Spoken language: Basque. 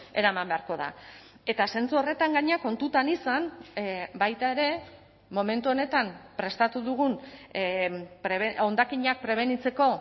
eraman beharko da eta zentzu horretan gainera kontutan izan baita ere momentu honetan prestatu dugun hondakinak prebenitzeko